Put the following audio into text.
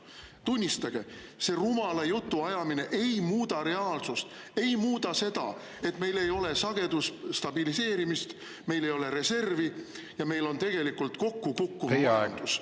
Tunnistage, see rumala jutu ajamine ei muuda reaalsust, ei muuda seda, et meil ei ole sagedusstabiliseerimist, meil ei ole reservi ja meil on tegelikult kokku kukkuv majandus.